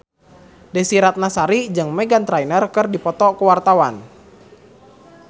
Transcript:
Desy Ratnasari jeung Meghan Trainor keur dipoto ku wartawan